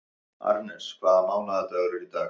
Arnes, hvaða mánaðardagur er í dag?